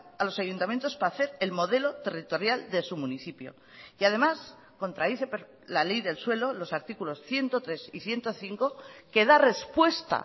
a los ayuntamientos para hacer el modelo territorial de su municipio y además contradice la ley del suelo los artículos ciento tres y ciento cinco que da respuesta